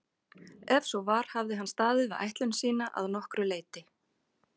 Ef svo var hafði hann staðið við ætlun sína að nokkru leyti.